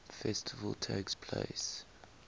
festival takes place